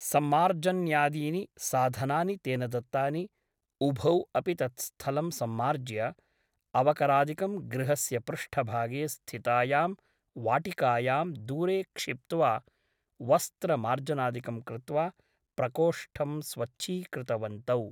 सम्मार्जन्यादीनि साधनानि तेन दत्तानि । उभौ अपि तत् स्थलं सम्मार्ज्य अवकरादिकं गृहस्य पृष्ठभागे स्थितायां वाटिकायां दूरे क्षिप्त्वा वस्त्रमार्जनादिकं कृत्वा प्रकोष्ठं स्वच्छीकृतवन्तौ ।